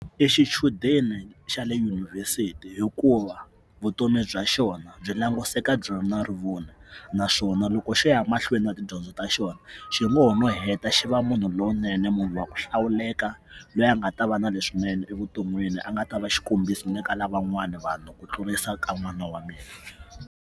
I xichudeni xa le yunivhesiti hikuva vutomi bya xona byi languseka byi ri rivoni naswona loko xi ya mahlweni na tidyondzo ta xona xi ngo no heta xi va munhu lowunene munhu wa ku hlawuleka loyi a nga ta va na leswinene evuton'wini a nga ta va xikombiso ni ka lavan'wana vanhu ku tlurisa ka n'wana wa .